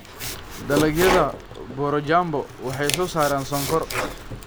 Dalagyada borojambo waxay soo saaraan sonkor.